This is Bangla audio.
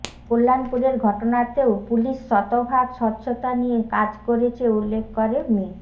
কল্যাণপুরের ঘটনাতেও পুলিশ শতভাগ স্বচ্ছতা নিয়ে কাজ করেছে উল্লেখ করে মি